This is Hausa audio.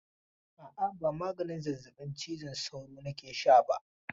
A'a, ba maganin zazzabin cizon sauro nake sha ba?